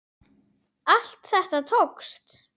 Allt þetta tókst.